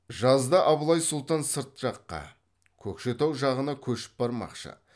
жазда абылай сұлтан сырт жаққа көкшетау жағына көшіп бармақшы